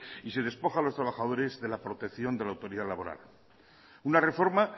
y se despoja a los trabajadores de la protección de la autoridad laboral una reforma